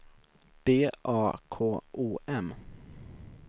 B A K O M